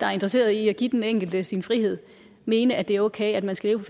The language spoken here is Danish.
der er interesseret i at give den enkelte sin frihed mene at det er okay at man skal